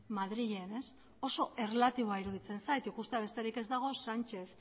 madrilen ez oso erlatiboa iruditzen zait ikustea besterik ez dago sánchez